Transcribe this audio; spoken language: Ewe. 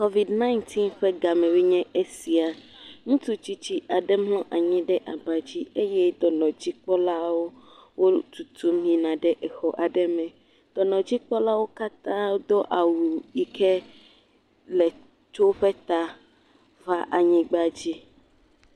Covidɔ̃ɛɣ ƒe gamewoe nye eya ŋutsu tsitsi aɖe mlɔ anyi ɖe aba dzi eye dɔnɔdzikpɔlawo le tutum yina ɖe xɔ aɖe me, dɔnɔdzikpɔlawo do awu yi ke tso woƒe ta va anyigba dzi.